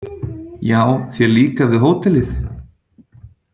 Já þér líkar við hótelið?